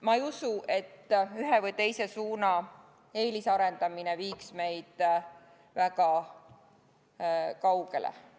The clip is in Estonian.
Ma ei usu, et ühe või teise suuna eelisarendamine viiks meid väga kaugele.